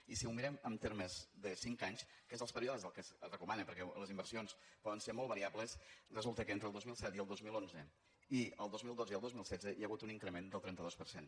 i si ho mirem amb termes de cinc anys que són els períodes que es recomanen perquè les inversions poden ser molt variables resulta que entre el dos mil set i el dos mil onze i el dos mil dotze i el dos mil setze hi ha hagut un increment del trenta dos per cent